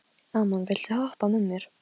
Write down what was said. Oft varð mikið fjaðrafok út af slíku.